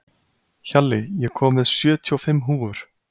Hjalli, ég kom með sjötíu og fimm húfur!